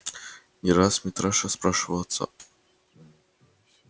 не раз митраша спрашивал отца